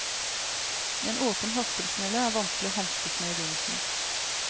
En åpen haspelsnelle er vanskelig å hanskes med i begynnelsen.